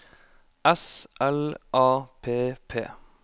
S L A P P